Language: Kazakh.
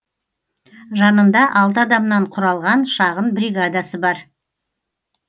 жанында алты адамнан құралған шағын бригадасы бар